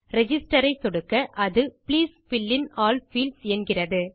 register ஐ சொடுக்க அது please fill in all fields என்கிறது